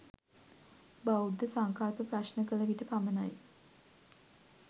බෞද්ධ සංකල්ප ප්‍රශ්න කල විට පමණයි.